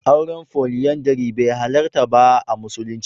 Auren Foliyandari bai halarta ba a musulunci.